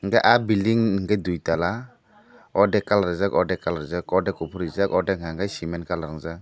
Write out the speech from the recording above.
hingke aah bilding hingke duitala ordek colour rijak ordek colour rijak ordek kopor ordek hingke siment colour rojak.